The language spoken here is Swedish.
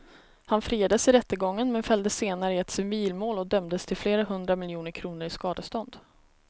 Han friades i rättegången men fälldes senare i ett civilmål och dömdes till flera hundra miljoner kronor i skadestånd.